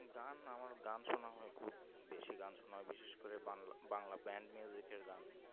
গান আমার গান সোনা হয় খুব বেশি গান সোনা বিশেষ করে বাংলা music এর গান